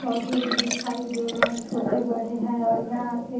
पौधे भी दिखाई दे रहे हैं छोटे बड़े हैं और यहाँ पे --